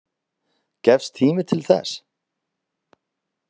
Gefst tími til þess?